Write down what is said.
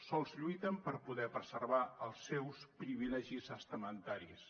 sols lluiten per poder preservar els seus privilegis estamentaris